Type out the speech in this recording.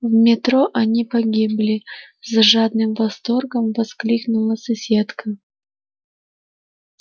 в метро они погибли с жадным восторгом воскликнула соседка